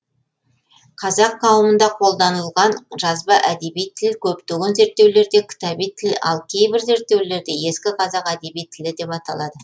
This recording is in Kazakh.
қазақ қауымында қодданылған жазба әдеби тіл көптеген зерттеулерде кітаби тіл ап кейбір зерттеулерде ескі қазақ әдеби тілі деп аталады